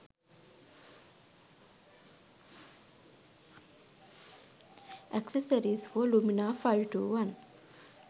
accessories for lumia 521